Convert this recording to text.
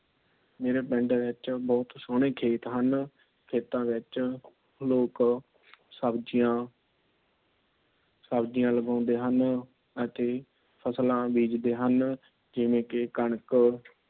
ਮੇਰੇ ਪਿੰਡ ਦੇ ਵਿੱਚ ਬਹੁਤ ਸੋਹਣੇ ਖੇਤ ਹਨ। ਖੇਤਾਂ ਵਿੱਚ ਲੋਕ ਸਬਜ਼ੀਆਂ ਸਬਜ਼ੀਆਂ ਲਗਾਉਂਦੇ ਹਨ। ਅਤੇ ਫ਼ਸਲਾਂ ਬੀਜਦੇ ਹਨ। ਜਿਵੇ ਕਿ ਕਣਕ,